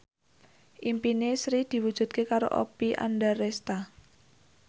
impine Sri diwujudke karo Oppie Andaresta